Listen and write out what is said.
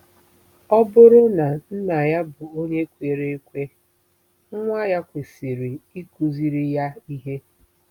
Ọ bụrụ na nna ya bụ onye kwere ekwe, nwa ya kwesịrị ịkụziri ya ihe.